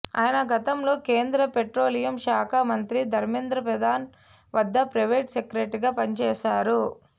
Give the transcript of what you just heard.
ఆయన గతంలో కేంద్ర పెట్రోలియం శాఖ మంత్రి ధర్మేంద్ర ప్రధాన్ వద్ద ప్రైవేట్ సెక్రటరీగా పనిచేశారు